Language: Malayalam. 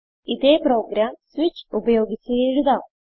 ഇതേ പ്രോഗ്രാം സ്വിച്ച് ഉപയോഗിച്ച് എഴുതാം